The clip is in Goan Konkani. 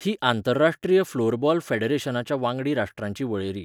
ही आंतरराष्ट्रीय फ्लोरबॉल फॅडरेशनाच्या वांगडी राष्ट्रांची वळेरी.